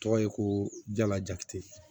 Tɔgɔ ye ko jala jati ye